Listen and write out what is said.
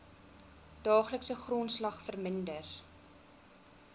daaglikse grondslag verminder